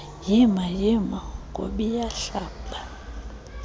yima yima nkobiyahlaba